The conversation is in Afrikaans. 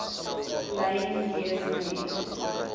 lyn wees met